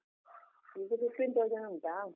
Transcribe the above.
ಈಗ fifteen thousand ಉಂಟಾ?